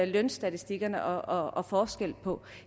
lønstatistikkerne og forskellen på